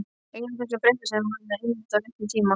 Ein af þessum fréttum sem koma einmitt á réttum tíma.